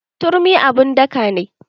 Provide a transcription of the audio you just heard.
Turmi abun daka ne.